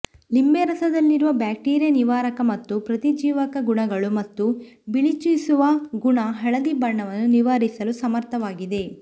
ಲಿಂಬೆರಸದಲ್ಲಿರುವ bacteria ನಿವಾರಕ ಮತ್ತು ಪ್ರತಿಜೀವಕ ಗುಣಗಳು ಮತ್ತು ಬಿಳಿಚಿಸುವ ಗುಣ ಹಳದಿ ಬಣ್ಣವನ್ನು ನಿವಾರಿಸಲು ಸಮರ್ಥವಾಗಿದೆ